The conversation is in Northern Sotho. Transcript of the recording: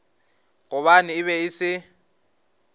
gobane e be e se